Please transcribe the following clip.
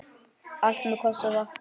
Allt með kossi vakti.